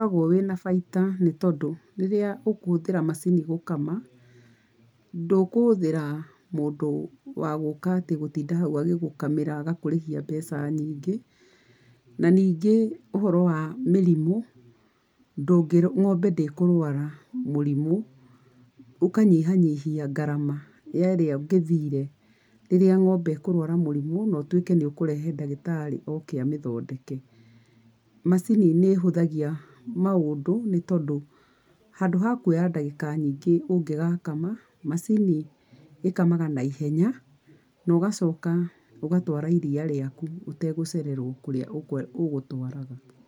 Nĩũkoragwo wĩna baita nĩtondũ rĩrĩa ũkũhũthĩra macini gũkama, ndũkũhũthĩra mũndũ wa gũka atĩ gũtinda hau agĩgũkamĩra agakũrĩhia mbeca nyingĩ, na ningĩ ũhoro wa mĩrimũ, ndũngĩ, ng’ombe ndĩkũrwara mũrimũ, ũkanyihanyihia ngarama ya ĩria ũngĩthire rĩrĩa ng’ombe ĩkũrwara mũrimũ no ũtuike nĩũkũrehe ndagĩtarĩ oke amĩthondeke. Macini nĩ ĩhũthagia maũndũ nĩtondũ handũ ha kuoya ndagĩka nyingĩ ũngĩgakama, macini ĩkamaga na ihenya, na ũgacoka ũgatwara iria rĩaku utegũcererwo kũrĩa ũgũtwaraga.